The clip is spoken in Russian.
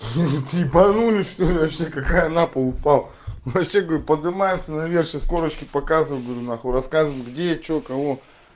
ха-ха ебанулись что-ли вообще какая на пол упал вообще говорю поднимаемся наверх сейчас корчки показываем рассказываем где что кого